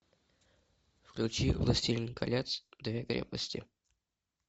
включи властелин колец две крепости